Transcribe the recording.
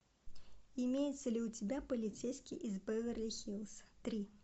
имеется ли у тебя полицейский из беверли хиллз три